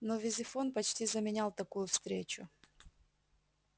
но визифон почти заменял такую встречу